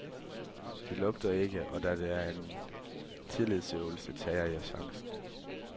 Det lugter ikke, og da det er en tillidsøvelse, tager jeg chancen.